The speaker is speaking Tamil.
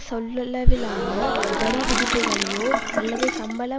சொல்லளவிலான வரிவிதிப்புக்ளையோ அல்லது சம்பள